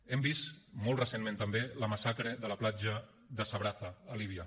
hem vist molt recentment també la massacre de la platja de sabraza a líbia